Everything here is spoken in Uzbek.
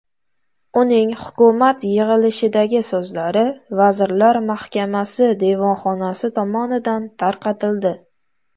Uning hukumat yig‘ilishidagi so‘zlari vazirlar mahkamasi devonxonasi tomonidan tarqatildi.